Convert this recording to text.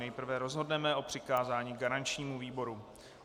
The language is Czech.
Nejprve rozhodneme o přikázání garančnímu výboru.